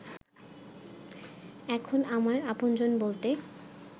এখন আমার আপনজন বলতে